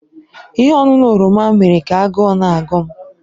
Ihe ọṅụṅụ oroma mere ka agụụ na-agụ m